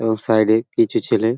এবং সাইড -এ কিছু ছেলে--